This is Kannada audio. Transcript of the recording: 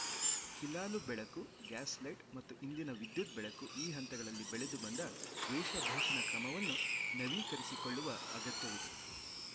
ಹಿಲಾಲು ಬೆಳಕು ಗ್ಯಾಸ್‌ ಲೈಟ್‌ ಮತ್ತು ಇಂದಿನ ವಿದ್ಯುತ್‌ ಬೆಳಕು ಈ ಹಂತಗಳಲ್ಲಿ ಬೆಳೆದು ಬಂದ ವೇಷಭೂಷಣ ಕ್ರಮವನ್ನು ನವೀಕರಿಸಿಕೊಳ್ಳುವ ಅಗತ್ಯವಿದೆ